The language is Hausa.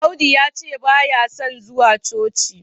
Audu yace baya son zuwa coci